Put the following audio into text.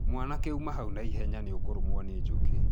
Mwanake uma hau na ihenya nĩ ũkũrũmwo nĩ njũkĩ.